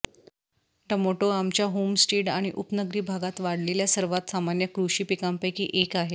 tomato आमच्या homestead आणि उपनगरी भागात वाढलेल्या सर्वात सामान्य कृषी पिकांपैकी एक आहे